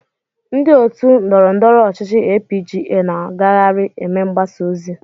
Ndị otu ndọrọndọrọ ọchịchị APGA na-agagharị eme mgbasa ozi.